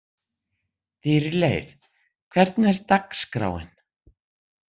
Dýrleif, hvernig er dagskráin?